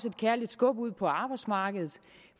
et kærligt skub ud på arbejdsmarkedet